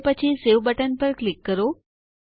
અને પછી save button પર ક્લિક કરો